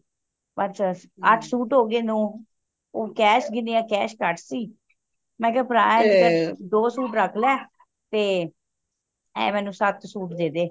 ਪੰਜ ਸੱਤ ਅੱਠ ਸੁਤ ਹੋ ਗਏ ਨੋ ਉਹ cash ਗਿਨੇਆ cash ਕੱਟ ਸੀ ਮੈਂ ਕਿਆ ਭਰਾ ਦੋ ਸੂਟ ਰੱਖ ਲੈ ਤੇ ਇਹ ਮੈਨੂੰ ਸੱਤ ਸੂਟ ਦੇਦੇ